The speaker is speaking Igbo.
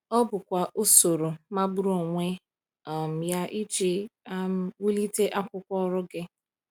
Ọ bụkwa usoro magburu onwe um ya iji um wulite akwụkwọ ọrụ gị!